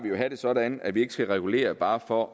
at have det sådan at vi ikke skal regulere bare for